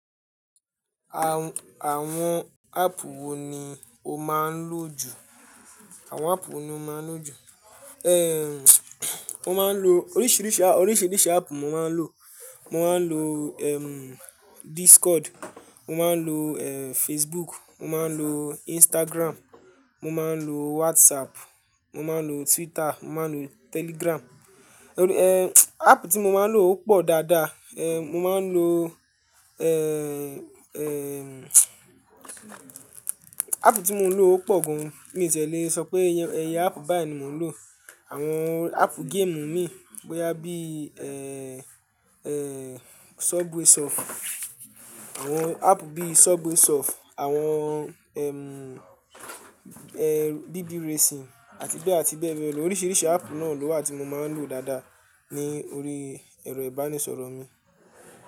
Àwọn app wò ni o máa ń lò jù? Àwọn áàpù wo ni o máa ń lò jù? Mo máa ń lo oríṣiríṣi, oríṣiríṣi app mo máa ń lò. Mo máa ń lo Discord, mo máa ń lo Facebook, mo máa ń lo Instagram, mo máa ń lo WhatsApp, mo máa ń lo Twitter, mo máa ń lo Telegram. App tí mo máa ń lò ó pò dáadáa. Mo máa ń lo App tí mo ń lò ó pò gan. Mi ò tí e lè sọ pé iyẹ app báyìí ni mò ń lò. Àwọn app game imi bóyá bí Subway Surf, àwọn app bí Subway Surf, àwọn BB racing àti bẹ́ẹ̀ àti bẹ́ẹ̀ bẹ́ẹ̀ lọ. Oríṣiríṣi app náà ló wà tí mo máa ń lò dáadáa ní orí ẹ̀rọ ìbánisọ̀rọ̀ mi.